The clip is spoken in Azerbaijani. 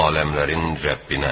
Aləmlərin Rəbbinə.